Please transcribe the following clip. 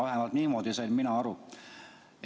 Vähemalt niimoodi sain mina aru.